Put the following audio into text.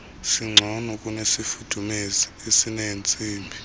singcono kunesifudumezi esineentsimbi